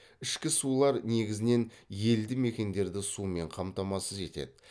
ішкі сулар негізінен елді мекендерді сумен қамтамасыз етеді